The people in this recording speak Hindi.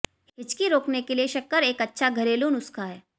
हिचकी रोकने के लिए शक्कर एक अच्छा घरेलू नुस्खा है